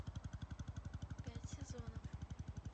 пять сезонов